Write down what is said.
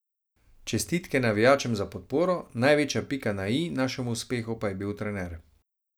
Čestitke navijačem za podporo, največja pika na i našemu uspehu pa je bil trener.